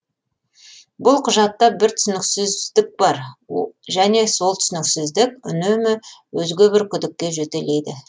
бұл құжатта бір түсініксіздік бар және сол түсініксіздік үнемі өзге бір күдікке жетелейді